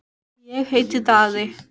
Eigum við að koma niður á strönd á morgun?